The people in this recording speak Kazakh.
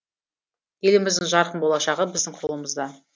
еліміздің жарқын болашағы біздің қолымызда